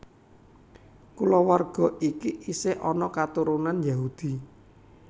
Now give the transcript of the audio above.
Kulawarga iki isih ana katurun Yahudi